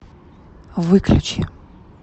выключи